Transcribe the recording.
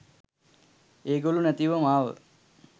ඒගොල්ලො නැතිව මාව